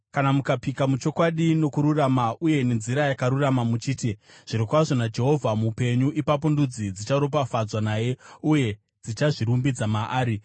kana mukapika muchokwadi, nokururama uye nenzira yakarurama muchiti: ‘Zvirokwazvo naJehovha mupenyu,’ ipapo ndudzi dzicharopafadzwa naye uye dzichazvirumbidza maari.”